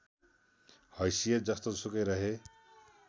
हैसियत जस्तोसुकै रहे